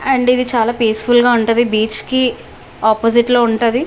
And ఇది చాల peaceful గ ఉంటది బీచ్ కి ఒప్పొసిట్ లో ఉంటది.